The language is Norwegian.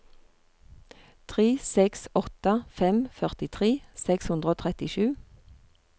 tre seks åtte fem førtitre seks hundre og trettisju